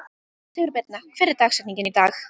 Sigurbirna, hver er dagsetningin í dag?